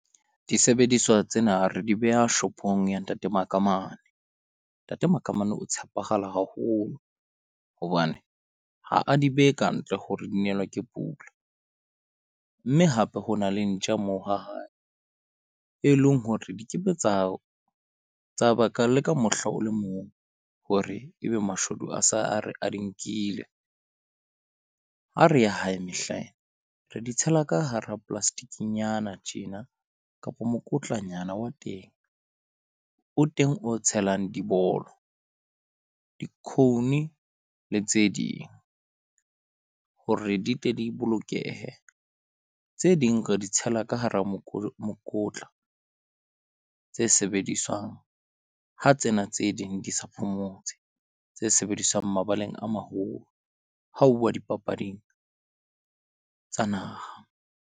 Disebediswa tsena re di beha shop-ong ya Ntate Makamane, Ntate Makamane o tshepala haholo hobane ha a di behe kantle ho re di nelwe ke pula. Mme hape ho na le ntja moo ha hae e leng hore di ke be tsa tsa baka le ka mohla o le mong hore ebe mashodu a se a re a di nkile. Ha re ya hae mehlaena re di tshela ka hara plastic-nyana tjena kapa mokotlanyana wa teng o teng o tshelang dibolo, di-cone le tse ding. Hore di tle di bolokehe tse ding re di tshela ka hara mokotla tse sebediswang ha tsena tse ding di sa phomotse, tse sebediswang mabaleng a maholo. Ha huwa dipapading tsa naha.